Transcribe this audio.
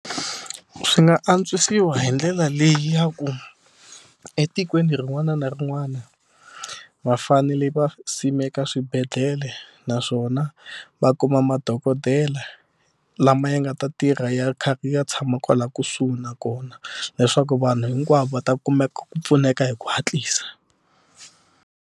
Swi nga antswisiwa hi ndlela leyi ya ku etikweni rin'wana na rin'wana va fanele va simeka swibedhlele naswona va kuma madokodela lama ya nga ta tirha ya kha ya tshama kwala kusuhi nakona leswaku vanhu hinkwavo va ta kumeka ku pfuneka hi ku hatlisa.